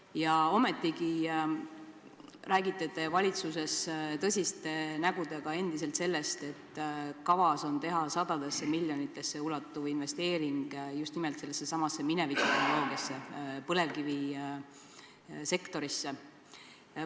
Ja ometigi räägite te valitsuses tõsiste nägudega endiselt, et kavas on teha sadadesse miljonitesse ulatuv investeering just nimelt sellessesamasse minevikutehnoloogiasse, põlevkivisektorisse.